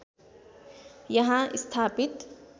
यहाँ स्थापित